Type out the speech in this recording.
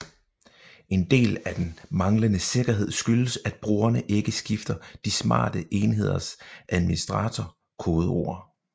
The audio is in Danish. En del af den manglende sikkerhed skyldes at brugerne ikke skifter de smarte enheders administrator kodeord